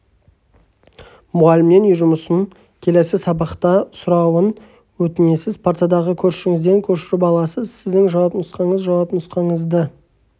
мұғалімнен үй жұмысын келесі сабақта сұрауын өтінесіз партадағы көршіңізден көшіріп аласыз сіздің жауап нұсқаңыз жауап нұсқаңызды